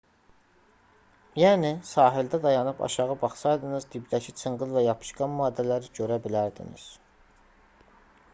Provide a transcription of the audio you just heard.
yəni sahildə dayanıb aşağı baxsaydınız dibdəki çınqıl və yapışqan maddələri görə bilərdiniz